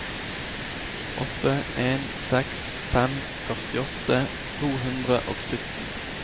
åtte en seks fem førtiåtte to hundre og sytten